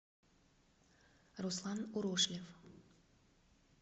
руслан урошлев